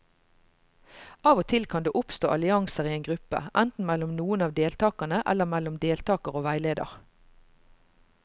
Av og til kan det oppstå allianser i en gruppe, enten mellom noen av deltakerne eller mellom deltakere og veileder.